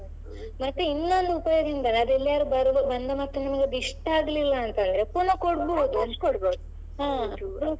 ಮತ್ತೆ ಇನ್ನೊಂದ್ ಉಪಯೋಗ ಎಂದರೆ ಅದೇಲ್ಲಾದ್ರೂ ಬಂದ ಮತ್ತೆ ನಮಗೆ ಅದು ಇಷ್ಟಾಗಿಲ್ಲ ಅಂತಂದ್ರೆ ಪುನಃ ಕೊಡ್ಬಹುದು.